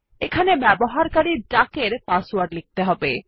এখানে ব্যবহারকারী ডাক এর পাসওয়ার্ড লিখতে হবে